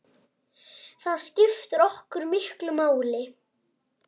Það skiptir okkur miklu máli.